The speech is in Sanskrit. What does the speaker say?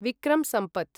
विक्रं सम्पथ्